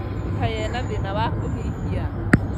Kaĩ ena thĩna wa kũhihia?